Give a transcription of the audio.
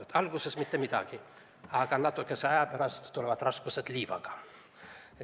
Alguses ei juhtuks mitte midagi, aga natukese aja pärast tuleksid raskused liivaga.